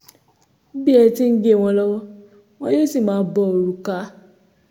bí ẹ ti ń gé wọn lọ́wọ́ wọn yóò sì máa bo òrùka